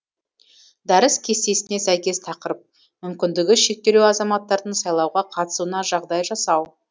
дәріс кестесіне сәйкес тақырып мүмкіндігі шектеулі азаматтардың сайлауға қатысуына жағдай жасау